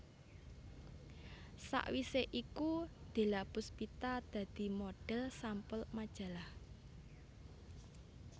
Sawisé iku Della Pustipa dadi modhel sampul majalah